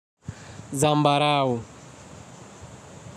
Zambarau.